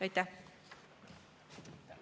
Aitäh!